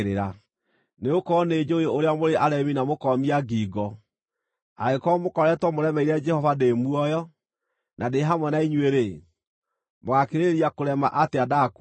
Nĩgũkorwo nĩnjũũĩ ũrĩa mũrĩ aremi na mũkoomia ngingo. Angĩkorwo mũkoretwo mũremeire Jehova ndĩ muoyo na ndĩ hamwe na inyuĩ-rĩ, mũgaakĩrĩrĩria kũrema atĩa ndakua!